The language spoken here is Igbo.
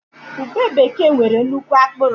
Ube bekee nwere nnukwu akpụrụ